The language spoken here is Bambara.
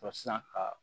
sisan ka